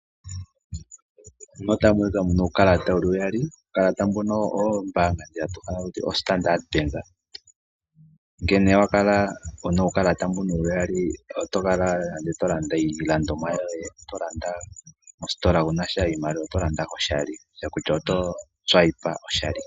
Mpano otapu monika uukalata wuli uyali. Uukalata mbuka owo Standard Bank , ngele wa kala una uukalata mbuka uyali oto kala to landa iilandomwa yoye mositola wunasha iimaliwa peke, oto landa to longitha oka kalata.